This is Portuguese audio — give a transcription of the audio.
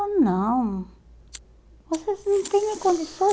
Ele falou, não, vocês não têm nem